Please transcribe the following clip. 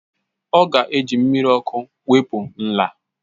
Ọ ga-eji mmiri ọkụ wepụ nla